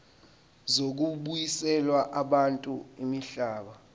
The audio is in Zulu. zokubuyiselwa kwabantu imihlaba